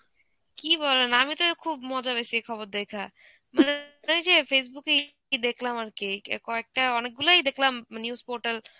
কী বলেন আমি তো এ খুব মজা পেইছি এই খবর দেইখা, মানে ওইযে facebook এ কি দেখলাম আরকি কে~ কয়েকটা অনেকগুলোই দেখলাম news portal